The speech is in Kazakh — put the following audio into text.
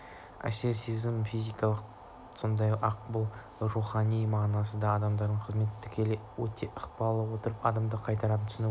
әсер сезімі физикалық та сондай-ақ бұл сөздің рухани мағынасында да адамның қызметіне тікелей ықпал ете отырып адамды қайраттандыра түсуге